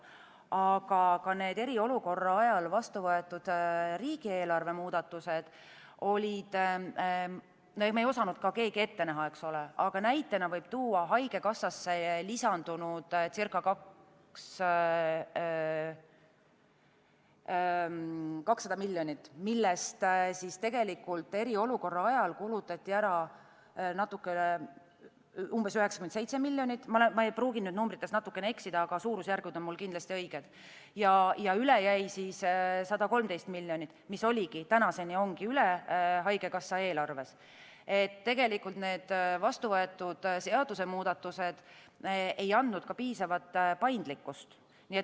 Aga need eriolukorra ajal vastu võetud riigieelarve muudatused olid – me keegi ei osanud ette näha – näiteks haigekassasse lisandunud ca 200 miljonit, millest eriolukorra ajal kulutati ära umbes 97 miljonit , ja üle jäi 113 miljonit, mis tänaseni ongi üle haigekassa eelarves – need vastuvõetud seadusemuudatused ei andnud piisavat paindlikkust.